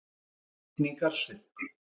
Það var rigningarsuddi.